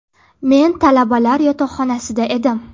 Men talabalar yotoqxonasida edim.